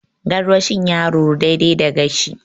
Gaarwashin ya ruru, daidai da gashi.